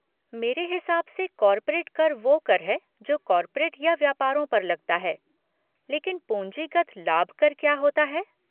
मेरे हिसाब से कॉर्पोरेट कर वो कर है जो कॉर्पोरेट या व्यापारों पर लगता है लेकिन पूँजीगत लाभ कर क्या होता है।